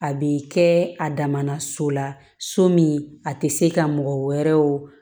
A bɛ kɛ a dama na so la so min a tɛ se ka mɔgɔ wɛrɛ wo